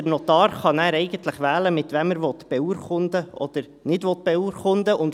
Der Notar kann nachher eigentlich wählen, mit wem er beurkunden oder nicht beurkunden will.